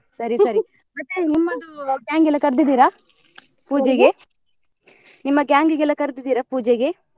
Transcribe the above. ಸರಿ ಸರಿ ಮತ್ತೆ ನಿಮ್ಮದು gang ಎಲ ಕರ್ದಿದ್ರ ನಿಮ್ಮ gang ಇಗೆಲ್ಲ ಕರ್ದಿದ್ರ ಪೂಜೆಗೆ?